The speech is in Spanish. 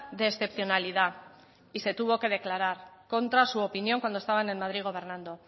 de excepcionalidad y se tuvo que declarar contra su opinión cuando estaban en madrid gobernando